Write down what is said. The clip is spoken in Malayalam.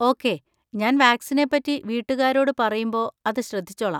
ഓക്കേ, ഞാൻ വാക്‌സിനെ പറ്റി വീട്ടുകാരോട് പറയുമ്പോ അത് ശ്രദ്ധിച്ചോളാം.